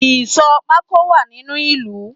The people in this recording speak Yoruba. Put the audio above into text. Ìsò pako wá nínu ìlú